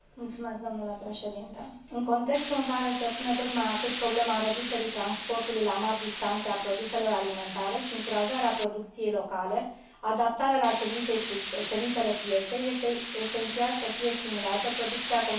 În contextul în care se pune tot mai acut problema reducerii transportului la mari distanțe a produselor alimentare, încurajarea producției locale și adaptarea la cerințele pieței, este esențial să fie stimulată producția comunitară de carne de ovine.